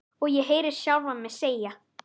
Og ég heyri sjálfa mig segja